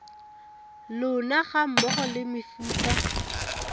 lona ga mmogo le mefuta